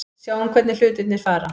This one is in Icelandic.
Sjáum hvernig hlutirnir fara.